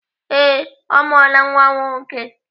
Ee, ọ mụọla nwa nwoke.